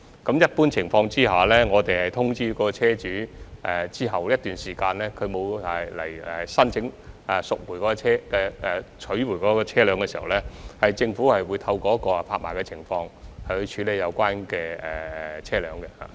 在一般情況下，在通知車主一段時間後，如果車主沒有申請取回車輛，政府會透過拍賣來處理有關車輛。